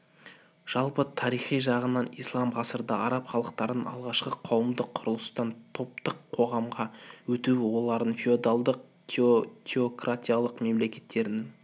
жалпы тарихи жағынан ислам ғасырда араб халықтарының алғашқы қауымдық құрылыстан таптық қоғамға өтуі олардың феодалдық-теократиялық мемлекеттерінің